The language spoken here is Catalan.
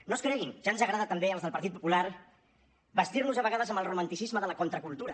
no es creguin ja ens agrada també als del partit popular bastir nos a vegades amb el romanticisme de la contracultura